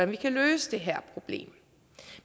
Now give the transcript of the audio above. vi kan løse det her problem